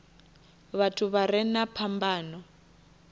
vhathu vha re na phambano